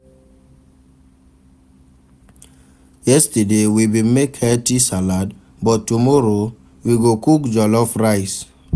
Yesterday, we bin make healthy salad, but tomorrow, we go cook jollof rice.